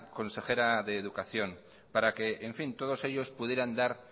consejera de educación para que en fin todos ellos pudieran dar